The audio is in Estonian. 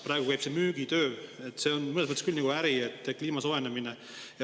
Praegu käib müügitöö – kliima soojenemine on mõnes mõttes nagu äri küll.